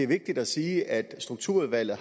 vigtigt at sige at strukturudvalget